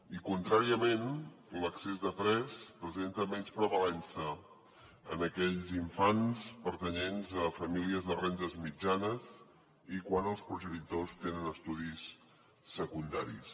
i contràriament l’excés de pes presenta menys prevalença en aquells infants pertanyents a famílies de rendes mitjanes i quan els progenitors tenen estudis secundaris